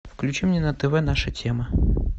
включи мне на тв наша тема